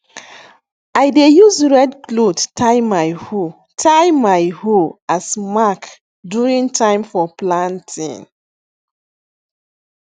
i dey use red cloth tie my hoe tie my hoe as mark during time for planting